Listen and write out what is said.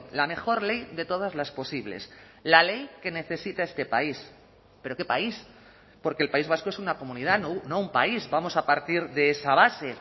la mejor ley de todas las posibles la ley que necesita este país pero qué país porque el país vasco es una comunidad no un país vamos a partir de esa base